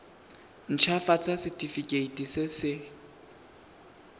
nt hafatsa setefikeiti se se